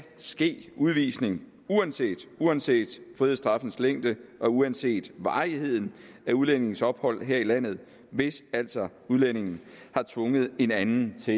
ske udvisning uanset uanset frihedsstraffens længde og uanset varigheden af udlændingens ophold her i landet hvis altså udlændingen har tvunget en anden til